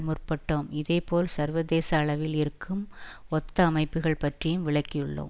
முற்பட்டோம் இதேபோல் சர்வதேச அளவில் இருக்கும் ஒத்த அமைப்புக்கள் பற்றியும் விளக்கியுள்ளோம்